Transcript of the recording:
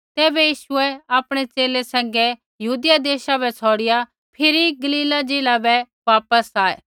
तैबै यीशु आपणै च़ेले सैंघै यहूदिया देशा बै छ़ौड़िआ फिरी गलीला ज़िला बै वापस आऐ